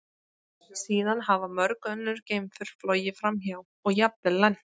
Síðan hafa mörg önnur geimför flogið framhjá og jafnvel lent.